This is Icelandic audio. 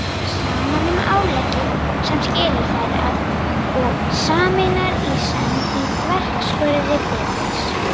Saman um áleggið sem skilur þær að og sameinar í senn í þverskurði bitsins